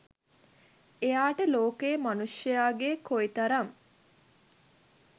එයාට ලෝකයේ මනුෂ්‍යයාගේ කොයි තරම්